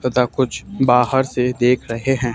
तथा कुछ बाहर से देख रहे हैं।